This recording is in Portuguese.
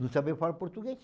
Não sabia falar português.